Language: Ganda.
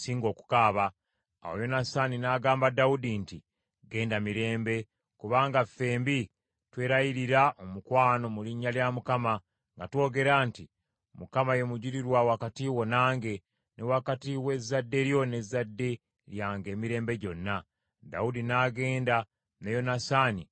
Awo Yonasaani n’agamba Dawudi nti, “Genda mirembe, kubanga fembi twelayirira omukwano mu linnya lya Mukama nga twogera nti, ‘ Mukama ye mujulirwa wakati wo nange, ne wakati w’ezzadde lyo n’ezzadde lyange emirembe gyonna.’ ” Dawudi n’agenda, ne Yonasaani n’addayo mu kibuga.